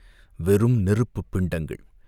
வெறும் நெருப்புப் பிண்டங்கள்.